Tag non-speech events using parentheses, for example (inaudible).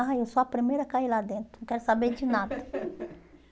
Ai, eu sou a primeira a cair lá dentro, não quero saber de nada. (laughs)